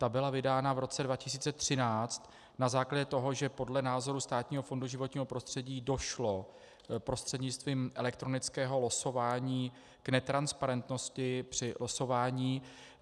Ta byla vydána v roce 2013 na základě toho, že podle názoru Státního fondu životního prostředí došlo prostřednictvím elektronického losování k netransparentnosti při losování.